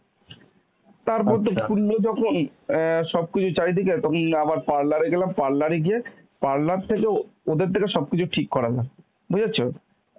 তারপর তো খুললো যখন অ্যাঁ সবকিছু চারিদিকের তখন আবার parlour এ গেলাম, parlour এ গিয়ে parlour থেকেও ওদের থেকে সবকিছু ঠিক করালাম. বুঝেছ?